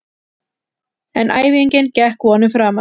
En æfingin gekk vonum framar.